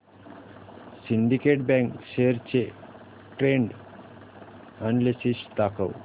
Syndicate Bank shares चे trend analysis दाखव